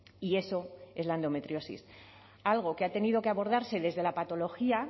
y eso es la endometriosis algo que ha tenido que abordarse desde la patología